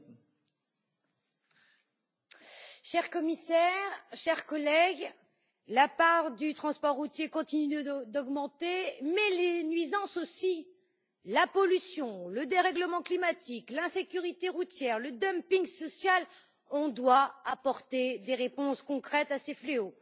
Madame la Présidente, Madame la Commissaire, chers collègues, la part du transport routier continue d'augmenter, mais les nuisances aussi la pollution, le dérèglement climatique, l'insécurité routière, le dumping social. Nous devons apporter des réponses concrètes à ces fléaux.